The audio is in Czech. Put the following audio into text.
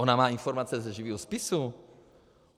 Ona má informace ze živého spisu.